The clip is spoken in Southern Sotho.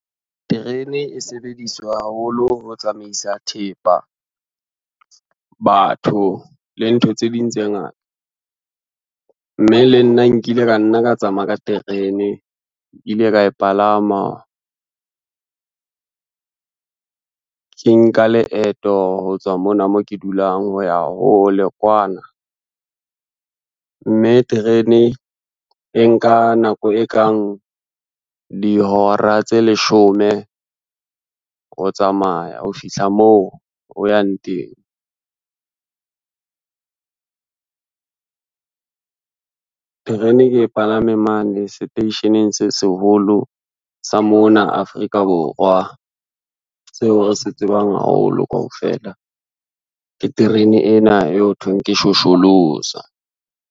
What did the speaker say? Terene e sebediswa haholo ho tsamaisa thepa, batho le ntho tse ding tse ngata. Mme le nna nkile ka nna ka tsamaya ka terene, ke ile ka e palama, ke nka leeto ho tswa mona mo ke dulang ho ya hole kwana, mme terene e nka nako e kang dihora tse leshome ho tsamaya ho fihla moo o yang teng. Terene ke e palame mane station-eng se seholo sa mona Afrika Borwa, seo re se tsebang haholo kaofela ke terene ena e hothweng ke Shosholoza.